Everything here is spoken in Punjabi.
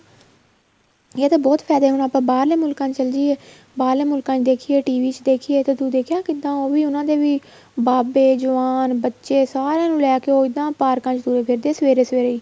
ਇਹ ਤੇ ਬਹੁਤ ਫਾਇਦੇਮੰਨ ਆਪਾਂ ਬਹਾਰਲੇ ਮੁਲਕਾਂ ਚ ਚਲੇ ਜਾਈਏ ਬਹਾਰਲੇ ਮੁਲਕਾਂ ਦੇਖੀਏ TV ਚ ਦੇਖੀਏ ਤਾਂ ਤੂੰ ਦੇਖਿਆ ਕਿੱਦਾਂ ਉਹੀ ਉਹਨਾ ਦੇ ਵੀ ਬਾਬੇ ਜਵਾਨ ਬੱਚੇ ਸਾਰੇ ਨੂੰ ਲੈਕੇ ਉਹ ਇੱਦਾਂ ਪਾਰਕਾਂ ਚ ਤੁਰੇ ਫਿਰਦੇ ਏ ਸਵੇਰੇ ਸਵੇਰੇ ਹੀ